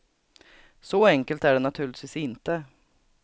Så enkelt är det naturligtvis inte.